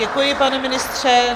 Děkuji, pane ministře.